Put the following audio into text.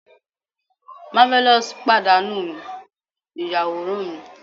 marvelous padanu mi iyaworan mi